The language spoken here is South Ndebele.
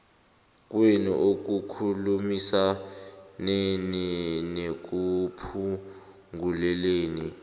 kwenu ekukhulumisaneni nekuphunguleni